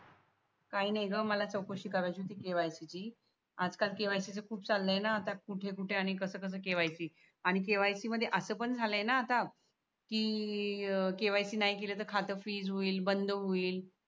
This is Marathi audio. काही नाही ग मला चौकशी करायची होती KYC ची आता KYC खूप चालय ना आता कुठे कुटे आणि कस कस KYC आणि KYC मध्ये अस पण झालय ना आता कि KYC नाही केल त खात फ्रीज होईल बंद होईल